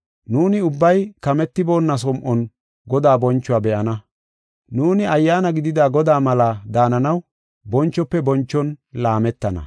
Nuuni ubbay kametiboonna som7on Godaa bonchuwa be7ana. Nuuni Ayyaana gidida Godaa malaa daananaw bonchofe bonchon laametana.